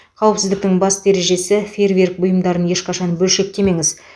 қауіпсіздіктің басты ережесі фейерверк бұйымдарын ешқашан бөлшектемеңіз